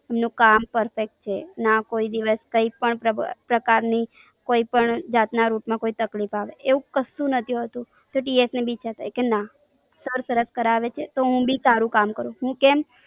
એમનું કામ perfect છે. ને આ કોઈ દિવસ કોઈ પણ પ્રબળ પ્રકાર ની કોઈ પણ જાત ના route માં કોઈ પણ તકલીફ આવે એવું કશું નથી હોતું તો TS ને ભી ઈચ્છા થાય કે ના કામ સરસ કરાવે છે તો હું ભી સારું કામ કરું કેમ.